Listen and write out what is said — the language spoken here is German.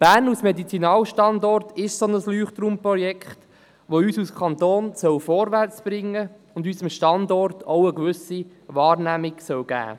Bern als Medizinalstandort ist sein solches Leuchtturmprojekt, das uns als Kanton vorwärtsbringen und unserem Standort auch eine gewisse Wahrnehmung geben soll.